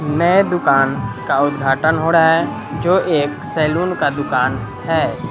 नए दुकान का उद्घाटन होड़ा है जो एक सैलून का दुकान है।